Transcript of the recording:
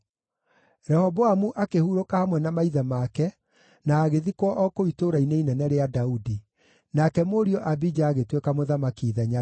Rehoboamu akĩhurũka hamwe na maithe make na agĩthikwo o kũu Itũũra-inĩ Inene rĩa Daudi. Nake mũriũ Abija agĩtuĩka mũthamaki ithenya rĩake.